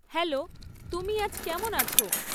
Hello তুমি আজ কেমন আছো?